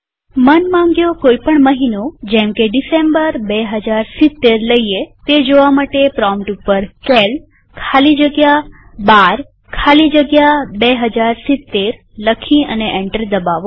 મનમાંગ્યો કોઈ પણ મહિનોજેમકે ડિસેમ્બર ૨૦૭૦ લઈએ તે જોવા પ્રોમ્પ્ટ ઉપર સીએએલ ખાલી જગ્યા 12 ખાલી જગ્યા 2070 લખી અને એન્ટર દબાવો